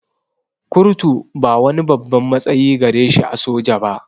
Kurtu ba wani babban matsayi gare shi a soja ba